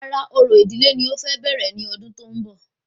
Rárá, orò ìdílé ni o fẹ bẹ̀rẹ̀ ní ọdún tó ń bọ̀